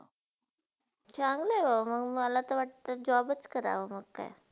चंगला आहे म, मलाते वाटता job च करावा मंग काय.